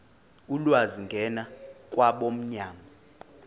ulwazi ngena kwabomnyango